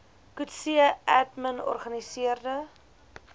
coetzee admin organiseerde